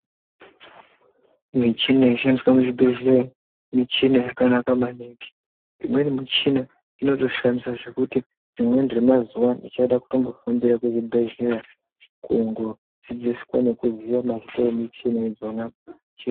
Michina inoshandiswa muzvibhedhleya michina yakanaka maningi imweni michina inotoshamisa zvekutoti rimweni remazuwa ndichada kutombofambira kuzvibhedhleya kungodzidziswa nekuziya mazita emichini idzona.